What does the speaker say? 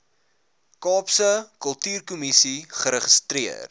kaapse kultuurkommissie geregistreer